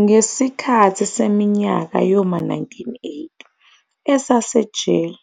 Ngesikhathi seminyaka yoma 1980 esesejele,